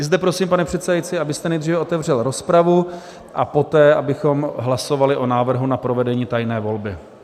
I zde prosím, pane předsedající, abyste nejdříve otevřel rozpravu a poté abychom hlasovali o návrhu na provedení tajné volby.